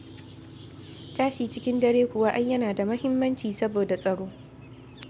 Tashi cikin dare kuwa ai yana da muhimmanci saboda tsaro.